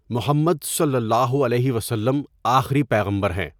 محّمد صلی اللہ علیہ و سلم آخری پیغمبر ہیں۔